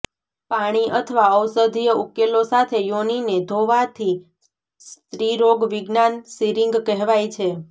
પાણી અથવા ઔષધીય ઉકેલો સાથે યોનિને ધોવાથી સ્ત્રીરોગવિજ્ઞાન સીરીંગ કહેવાય છે